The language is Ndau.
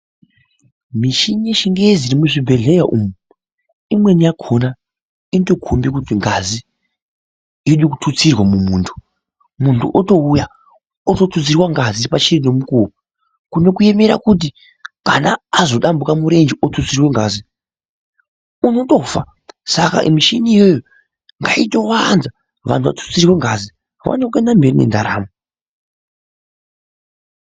Michini yechingezi iri muzvibhodhleya umu, imweni yakhona inotokhombe kuti ngazi yode kututsirwa mumuntu. Muntu otouya ototutsirwa ngazi pachiri nemukuwo, kune kuemera kuti kana azodambuka murenje otutsirwe ngazi, unotofa. Saka muchini iyoyo ngaitowanda vantu vatutsirwe ngazi, vaone kuenda mberi nendaramo.